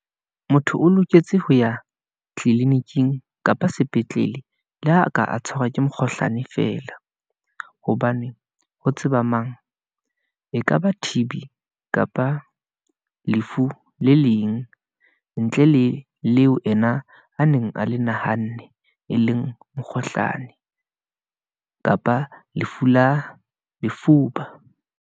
Motho o loketse ho ya tliliniking kapa sepetlele, le ha ka a tshwarwa ke mokgohlane fela, hobane ho tseba mang , ekaba T_B, kapa lefu le leng, ntle le leo ena a neng a le nahanne, e leng mokgohlane , kapa lefu la lefuba.